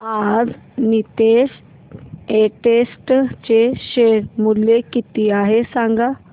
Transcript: आज नीतेश एस्टेट्स चे शेअर मूल्य किती आहे सांगा